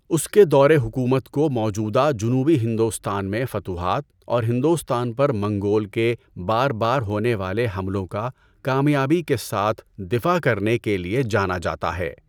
اس کے دور حکومت کو موجودہ جنوبی ہندوستان میں فتوحات اور ہندوستان پر منگول کے بار بار ہونے والے حملوں کا کامیابی کے ساتھ دفاع کرنے کے لیے جانا جاتا ہے۔